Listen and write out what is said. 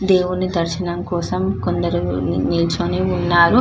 దేవుని దర్శనకోసం కొందరు నిల్చుని ఉన్నారు --